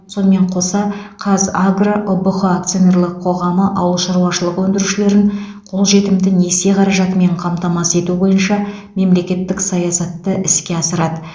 сонымен қоса қазагро ұбх акционерлік қоғамы ауыл шаруашылығы өндірушілерін қолжетімді несие қаражатымен қамтамасыз ету бойынша мемлекеттік саясатты іске асырады